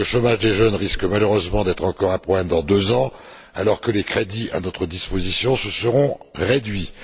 Le chômage des jeunes risque malheureusement d'atteindre encore des sommets dans deux ans, alors que les crédits à notre disposition se seront réduits.